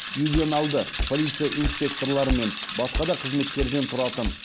ювеналды полиция инспекторлары мен басқа да қызметкерден тұратын